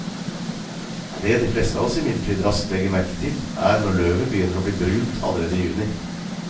Det de fleste av oss imidlertid raskt legger merke til, er når løvet begynner å bli brunt allerede i juni.